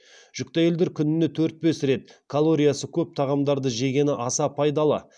жүкті әйелдер күніне төрт бес рет калориясы көп тағамдарды жегені аса пайдалы